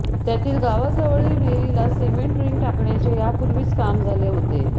त्यातील गावाजवळील विहिरीला सिमेंट रिंग टाकण्याचे यापूर्वीच काम झाले होते